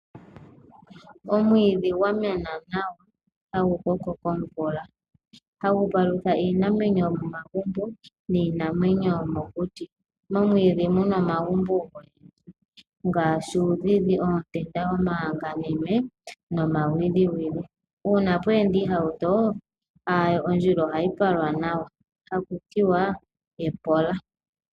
Omwiidhi gwamena nawa tagukoko komvula, tagu palutha iinamwenyo yomomagumbo niinamwenyo yomokuti. Momwiidhi muna omagumbo ngaashi uudhidhi, oontenda, omaanganime nomawiliwili. Uuna pweenda iihauto ondjila ohayi palwa nawa taku tiwa epola.